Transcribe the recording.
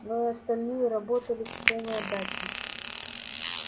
но и остальные работали с полной отдачей